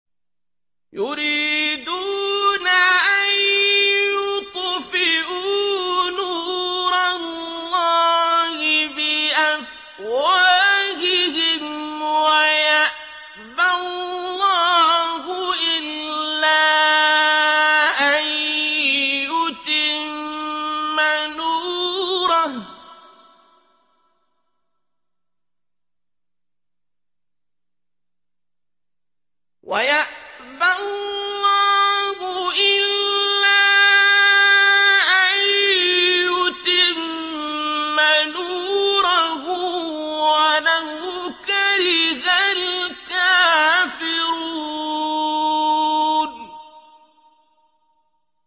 يُرِيدُونَ أَن يُطْفِئُوا نُورَ اللَّهِ بِأَفْوَاهِهِمْ وَيَأْبَى اللَّهُ إِلَّا أَن يُتِمَّ نُورَهُ وَلَوْ كَرِهَ الْكَافِرُونَ